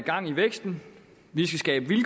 skat vil